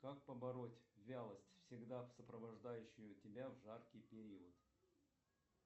как побороть вялость всегда сопровождающую тебя в жаркий период